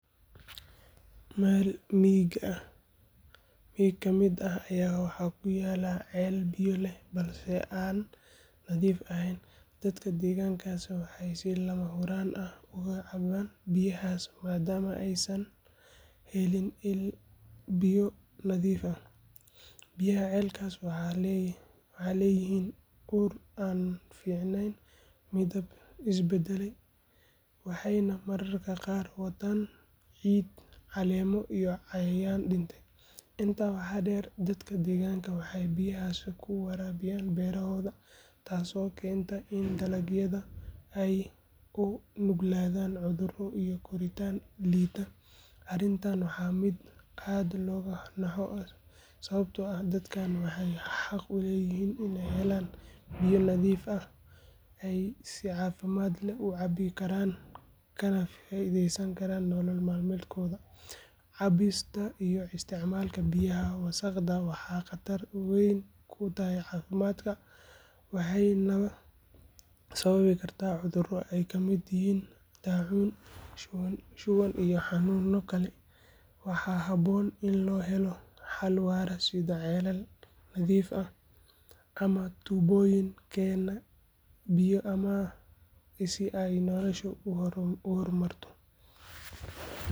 Meel miyiga ka mid ah ayaa waxaa ku yaalla ceel biyo leh balse aan nadiif ahayn, dadka deegaankaasna waxay si lama huraan ah uga cabbaan biyahaas maadaama aysan helin il biyo nadiif ah. Biyaha ceelkaas waxay leeyihiin ur aan fiicnayn, midab is beddelay, waxayna mararka qaar wataan ciid, caleemo, iyo cayayaan dhintay. Intaa waxaa dheer, dadka deegaanka waxay biyahaas ku waraabiyaan beerahooda, taasoo keenta in dalagyada ay u nuglaadaan cudurro iyo koritaan liita. Arrintani waa mid aad looga naxo, sababtoo ah dadkani waxay xaq u leeyihiin in ay helaan biyo nadiif ah oo ay si caafimaad leh u cabbi karaan kana faa’iideysan karaan nolol maalmeedkooda. Cabista iyo isticmaalka biyaha wasakhaysan waxay khatar weyn ku tahay caafimaadka, waxayna sababi kartaa cudurro ay ka mid yihiin daacuun, shuban iyo xanuunno kale. Waxaa habboon in loo helo xal waara sida ceelal nadiif ah ama tuubooyin keena biyo ammaan ah si ay noloshoodu u horumarto.